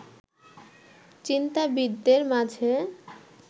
চিন্তাবিদদের মাঝে